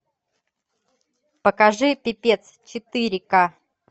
покажи пипец четыре ка